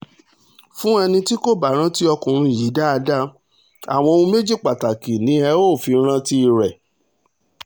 fún ẹni ẹni tí kò bá rántí ọkùnrin yìí dáadáa àwọn ohun méjì pàtàkì ni ẹ óò fi rántí rẹ̀